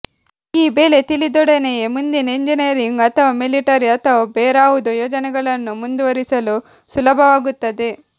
ಈ ಬೆಲೆ ತಿಳಿದೊಡನೆಯೇ ಮುಂದಿನ ಎಂಜಿನಿಯರಿಂಗ್ ಅಥವಾ ಮಿಲಿಟರಿ ಅಥವಾ ಬೇರಾವುದೋ ಯೋಜನೆಗಳನ್ನು ಮುಂದುವರಿಸಲು ಸುಲಭವಾಗುತ್ತದೆ